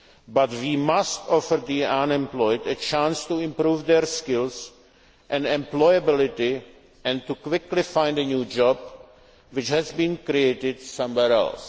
jobs. But we must offer the unemployed a chance to improve their skills and employability, and to quickly find a new job which has been created somewhere